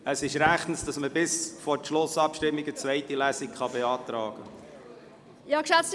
– Es ist rechtens, dass man bis zur Schlussabstimmung eine zweite Lesung beantragen kann.